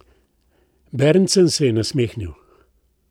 Berntsen se je nasmehnil.